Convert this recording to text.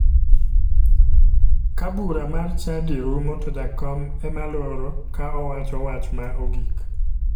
Ka bura mar chadi rumo to jakom ema loro ka owacho wach ma ogik